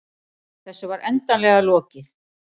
Þessu var endanlega lokið.